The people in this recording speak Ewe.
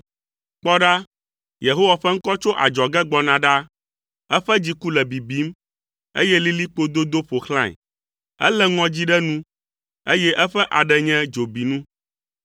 Kpɔ ɖa, Yehowa ƒe ŋkɔ tso adzɔge gbɔna ɖa, eƒe dziku le bibim, eye lilikpo dodo ƒo xlãe. Elé ŋɔdzi ɖe nu, eye eƒe aɖe nye dzobinu.